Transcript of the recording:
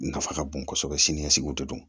Nafa ka bon kosɛbɛ sini ɲɛsigiw de do